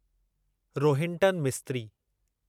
Rohinton Mistry